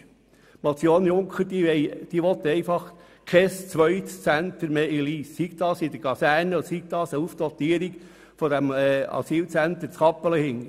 Die Motion Junker will ein zweites Zentrum in Lyss verhindern, sei es in der Kaserne oder sei es als Aufdatierung des Asylzentrums in Kappelen.